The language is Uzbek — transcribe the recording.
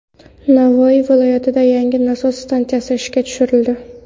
Navoiy viloyatida yangi nasos stansiyasi ishga tushirildi.